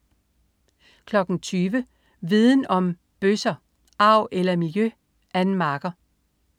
20.00 Viden Om: Bøsser. Arv eller miljø? Ann Marker